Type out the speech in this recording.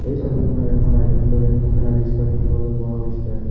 ছবিখনত এখন আভ্যন্তৰীণ কোঠাৰ দৃশ্য দেখিবলৈ পোৱা গৈছে।